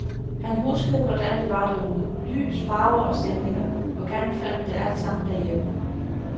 Han huskede hvordan det var derude, lys, farver og stemninger, og genfandt det altsammen derhjemme.